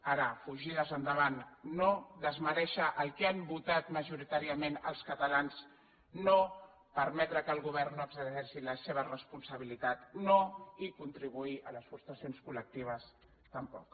ara fugides endavant no desmerèixer el que han votat majoritàriament els catalans no permetre que el govern no exerceixi la seva responsabilitat no i contribuir a les frustracions col·lectives tampoc